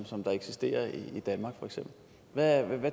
eksisterer i danmark hvad